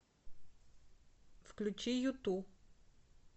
включи юту